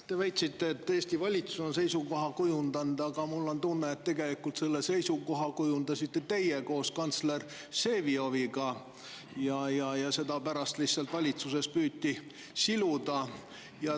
Te väitsite, et Eesti valitsus on seisukoha kujundanud, aga mul on tunne, et selle seisukoha kujundasite tegelikult teie koos kantsler Vsevioviga, ja seda püüti valitsuses pärast lihtsalt siluda.